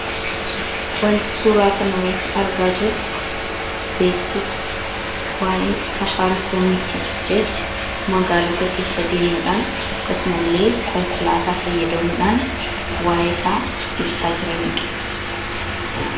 wanti suuraa kana irratti argaa jirru beeksisa waa’ee safaarii koomii, magaalota keessa deemuudhaan . akkasumallee konkolaataa fayyadamuudhaan waa'ee isaa ibsaa jiraniidha.